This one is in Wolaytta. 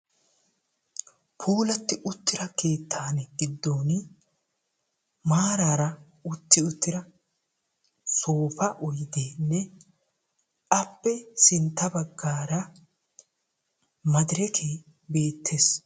Puulati uttida keettan giddon maarara utti uttira soopa oyddenne appe sintta baggaara maderekke beettees.